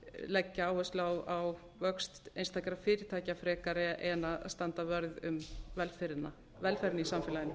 leggja áherslu á vöxt einstakra fyrirtækja frekar en að standa vörð um velferðina í samfélaginu